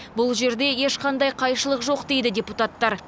бұл жерде ешқандай қайшылық жоқ дейді депутаттар